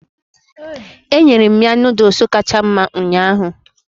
Enyere m ya Nụ́dúls kacha mma ụnyaahụ